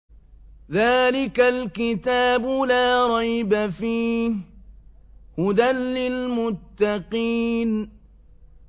ذَٰلِكَ الْكِتَابُ لَا رَيْبَ ۛ فِيهِ ۛ هُدًى لِّلْمُتَّقِينَ